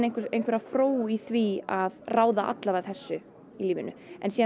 einhverja fró í því að ráða alla vega þessu í lífinu en